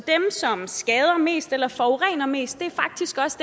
som skader mest eller forurener mest faktisk også